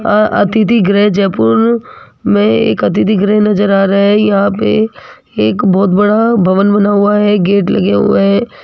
आ अतिथि गृह जयपुर मे एक अतिथि गृह नज़र आ रहा है यहां पे एक बहोत बड़ा भवन बना हुआ है गेट लगे हुए है।